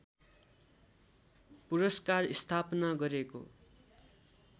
पुरस्कार स्थापना गरेको